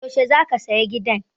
Yaushe za ka saya gidan?